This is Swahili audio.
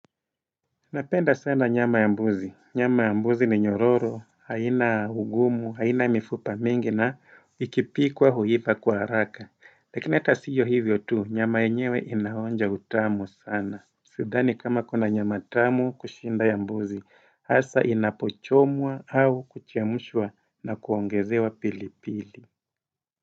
Napenda sana nyama ya mbuzi. Nyama ya mbuzi ni nyororo, haina ugumu, haina mifupa mingi na ikipikwa huiva kwa haraka. Lakini ata siyo hivyo tu, nyama enyewe inaonja utamu sana. Sidhani kama kuna nyama tamu kushinda ya mbuzi, hasa inapochomwa au kuchemushwa na kuongezewa pili pili.